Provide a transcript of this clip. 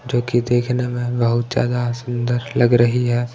जो कि देखने में बहुत ज्यादा सुंदर लग रही है।